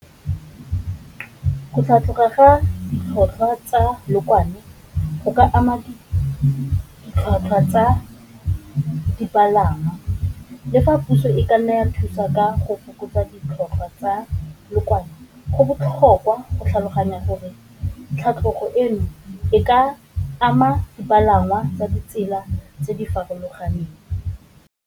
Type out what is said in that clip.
Go tlhatlhoga ga ditlhotlhwa tsa leokwane go ka ama ditlhwatlhwa tsa dipalangwa, le fa puso e ka nna ya thusa ka go fokotsa ditlhotlhwa tsa leokwane go botlhokwa go tlhaloganya gore tlhatlhogo eno e ka ama dipalangwa ka ditsela tse di farologaneng.